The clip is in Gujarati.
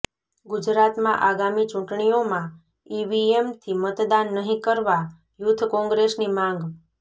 ગુજરાતમાં આગામી ચુંટણીઓમાં ઈવીએમથી મતદાન નહિં કરવા યુથ કોંગ્રેસની માંગ